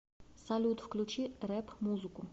салют включи рэп музыку